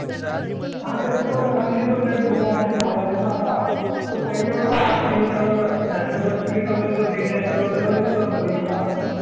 हा तेच तर म्हंटलं कारण की तो लय झाला असेल ना आता, तो पहिले होता पहिले जेव्हा अं national ला तेव्हा दिसत होता मलिंगा